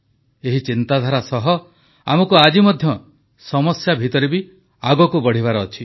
ଏହି ଚିନ୍ତାଧାରା ସହ ଆମକୁ ଆଜି ମଧ୍ୟ ସମସ୍ୟା ମଧ୍ୟରେ ଆଗକୁ ବଢ଼ିବାର ଅଛି